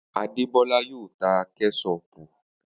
Adebola yóò ta Kẹ́ṣọpù.